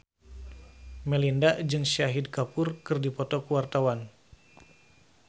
Melinda jeung Shahid Kapoor keur dipoto ku wartawan